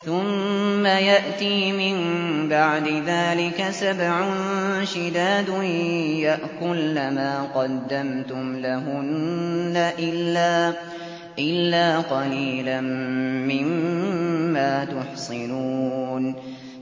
ثُمَّ يَأْتِي مِن بَعْدِ ذَٰلِكَ سَبْعٌ شِدَادٌ يَأْكُلْنَ مَا قَدَّمْتُمْ لَهُنَّ إِلَّا قَلِيلًا مِّمَّا تُحْصِنُونَ